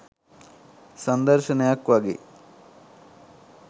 සංදර්ශනයක් වගෙයි.